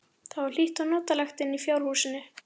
Það var hlýtt og notalegt inni í fjárhúsinu.